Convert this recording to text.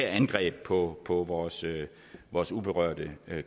angreb på på vores vores uberørte